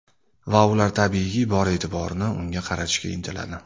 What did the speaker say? Va ular tabiiyki, bor e’tiborni unga qaratishga intiladi.